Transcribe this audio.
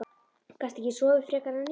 Gastu ekki sofið frekar en ég?